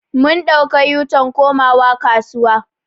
Mun ɗauka u-turn komawa kasuwa.